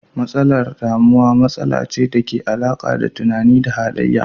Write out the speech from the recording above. Matsalar damuwa matsala ce dake da alaka da tunani da halayya.